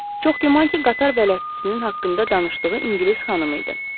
Çox güman ki, qatar bələdçisinin haqqında danışdığı ingilis xanımı idi.